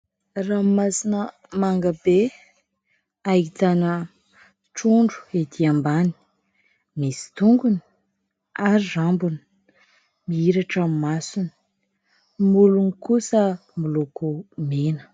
Ranomasina manga be. Ahitana trondro etỳ ambany. Misy tongony ary rambony. Mihiratra ny masony, molony kosa miloko mena.